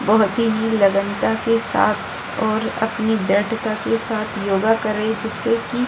बहोत ही लगनता के साथ और अपनी दृढ़ता के साथ योगा कर रही जिससे की --